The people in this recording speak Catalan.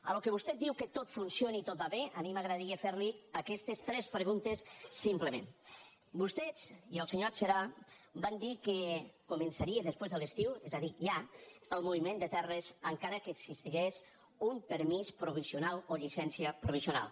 al que vostè diu que tot funciona i tot va bé a mi m’agradaria fer li aquestes tres preguntes simplement vostè i el senyor adserà van dir que començaria després de l’estiu és a dir ja el moviment de terres encara que existís un permís provisional o llicència provisional